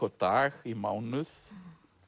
á dag í mánuð